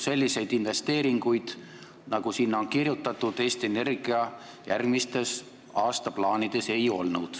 Selliseid investeeringuid, nagu sinna on kirjutatud, Eesti Energia järgmistes aastaplaanides ei ole.